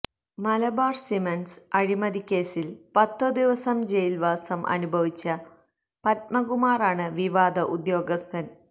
Malabar Cements അഴിമതിക്കേസില് പത്ത് ദിവസം ജയില്വാസം അനുഭവിച്ച പദ്മകുമാറാണ് വിവാദ ഉദ്യോഗസ്ഥന്